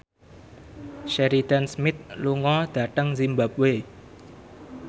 Sheridan Smith lunga dhateng zimbabwe